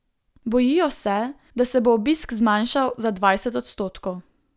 Bojijo se, da se bo obisk zmanjšal za dvajset odstotkov.